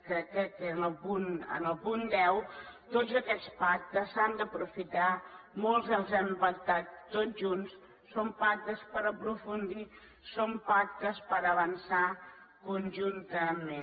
crec que era en el punt deu tots aquests pactes s’han d’aprofitar molts els hem pactat tots junts són pactes per aprofundir són pactes per avançar conjuntament